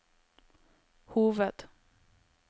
hoved